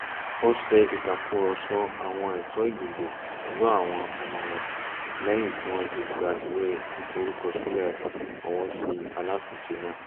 ó ṣe ìtàkùrọ̀sọ àwọn ẹ̀tọ́ ìdìbò pẹ̀lú àwọn ọmọ rẹ̀ lẹ́yìn tí wọ́n ti gba ìwé ìforúkọsílẹ̀ ìfọwọ́sí alátùnúnṣe náà